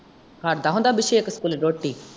ਖਾਂਦਾ ਹੁੰਦਾ ਅਭਿਸ਼ੇਕ ਸਕੂਲੇ ਰੋਟੀ?